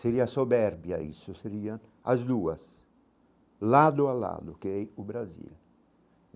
Seria a soberbia isso, seria as duas, lado a lado, que é ir para o Brasil.